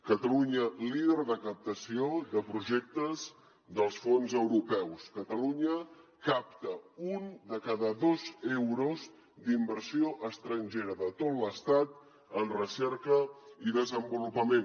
catalunya líder de captació de projectes dels fons europeus catalunya capta un de cada dos euros d’inversió estrangera de tot l’estat en recerca i desenvolupament